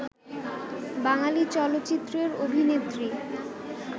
বাঙালি চলচ্চিত্রের অভিনেত্রী